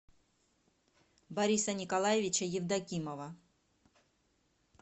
бориса николаевича евдокимова